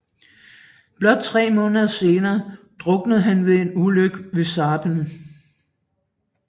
Blot tre måneder senere druknede han ved en ulykke ved Sarpen